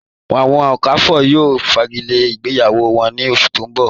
Awọn Okafors yóò fágílẹ̀ ìgbéyàwó wọn ní ọ̀ṣù tó n bọ̀.